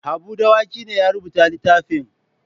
Habu Dawaki ne ya rubuta littafin.